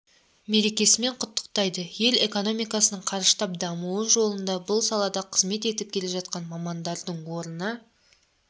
мерекесімен құттықтайды ел экономикасының қарыштап дамуы жолында бұл салада қызмет етіп келе жатқан мамандардың орны